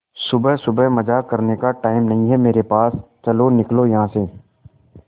सुबह सुबह मजाक करने का टाइम नहीं है मेरे पास चलो निकलो यहां से